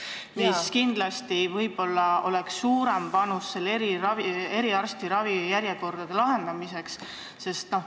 See aitaks kindlasti kaasa ka eriarsti ravijärjekordade probleemi lahendamisele.